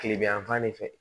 Kile bi yanfan de fɛ